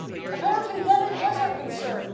Apparently, then, it was our concern.